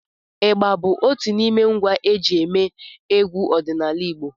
ịgbá bụ otù n’ime ngwá eji émé egwu ọdịnala Igbo